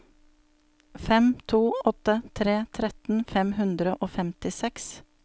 fem to åtte tre tretten fem hundre og femtiseks